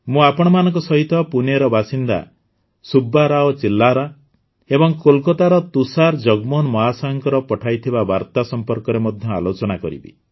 ମୁଁ ଆପଣମାନଙ୍କ ସହିତ ପୁଣେର ବାସିନ୍ଦା ସୁବ୍ବା ରାଓ ଚିଲ୍ଲାରା ଏବଂ କୋଲକାତାର ତୁଷାର ଜଗମୋହନ ମହାଶୟଙ୍କ ପଠାଇଥିବା ବାର୍ତ୍ତା ସମ୍ପର୍କରେ ମଧ୍ୟ ଆଲୋଚନା କରିବି